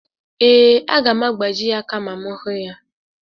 Ee, aga m agbaji ya aka ma m hụ ya.